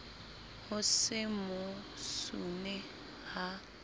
ho se mo sune ha